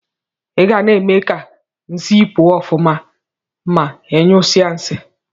Igana eme ka nsi pụọ ọfụma ma inyụsie nsi.